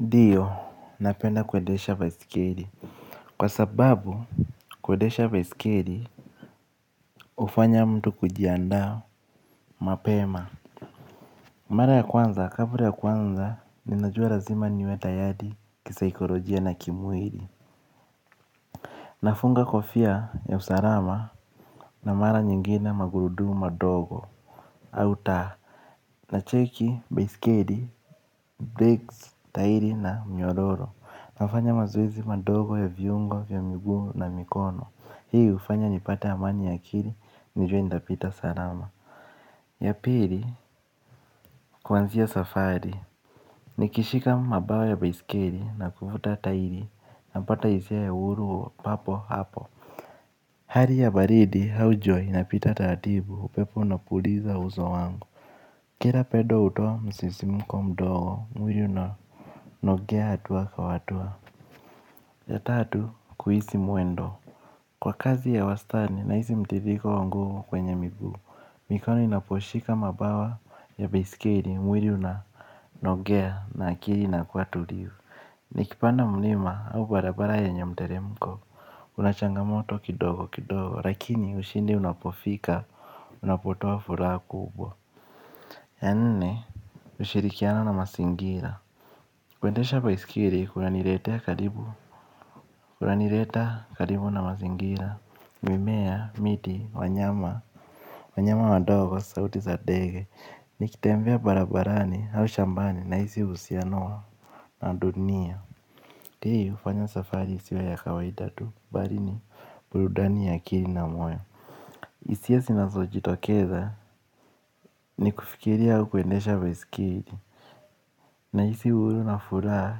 Ndio napenda kuendesha baiskeli. Kwa sababu, kuendesha baiskeli, ufanya mtu kujiandao mapema. Mara ya kwanza, kabla ya kwanza, ninajua lazima niwe tayari, kisikolojia na kimwiri. Nafunga kofia ya usarama na mara nyingina magurudu madogo, auta. Nacheki, baiskeli, brakes, tahiri na mnyororo. Nafanya mazoezi madogo ya viungo vya miguu na mikono. Hii hufanya nipate amani ya akili, nijue nitapita salama. Ya pili, kuanzia safari. Nikishika mabawa ya baiskeli na kuvuta tahiri, napata hisia ya uhuru papo hapo. Hali ya baridi, au jua, inapita taratibu, upepo unapuliza uso wangu. Kila pendo hutoa, msisimko mdogo, mwili unanogea hatua kwa hatua. Ya tatu kuhisi mwendo. Kwa kazi ya wastani, nahisi mtiririko wa nguvu kwenye migu. Mikono inaposhika mabawa ya baiskeli mwili unanogea na akili inakua tulivu. Nikipanda mlima au barabara yenye mteremko kuna changamoto kidogo kidogo lakini ushindi unapofika unapotoa furaha kubwa ya nne ushirikiana na mazingira. Kuendesha baiskeli kunaniletea karibu. Kunanileta karibu na mazingira. Mimea, miti, wanyama. Wanyama wandogo sauti za ndege. Nikitembea barabarani au shambani nahisi uhusiano wa dunia hii hufanya safari isiwe ya kawaida tu mbali yenye furaha na amani hisia zinazojitokeza. Ni kufikiria au kuendesha baiskeli. Nahisi uhuru na furaha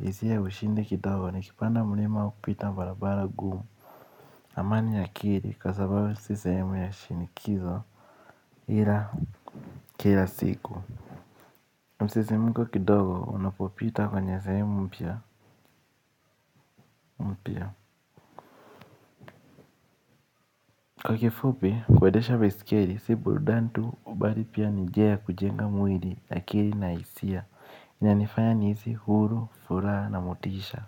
isiyo ya ushindi kidogo. Nikipanda mlima au kupita barabara ngumu. Amani ya akili. Kwa sababu isi sehemu ya shinikizo ila kila siku. Na msisimko kidogo unapopita kwenye sehemu mpya mpya. Kwa kifupi kuendesha baiskeli si burudani tu mbali pia ni njia ya kujenga mwili akili na hisia inanifanya nihisi huru furaha na motisha.